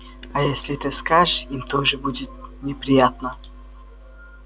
а если ты скажешь им тоже будет неприятно